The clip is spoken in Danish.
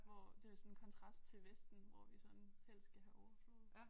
Hvor det sådan kontrast til vesten hvor vi sådan helst skal have overflod